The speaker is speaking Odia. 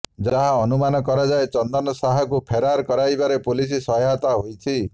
ଯାହା ଅନୁମାନ କରାଯାଏ ଚନ୍ଦନ ଶାହାକୁ ଫେରାର କରାଇବାରେ ପୁଲିସ ସହାୟକ ହୋଇଛି